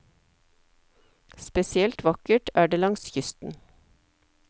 Spesielt vakkert er det langs kysten.